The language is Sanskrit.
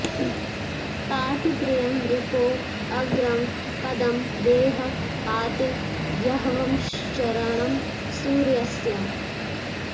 पाति॑ प्रि॒यं रि॒पो अग्रं॑ प॒दं वेः पाति॑ य॒ह्वश्चर॑णं॒ सूर्य॑स्य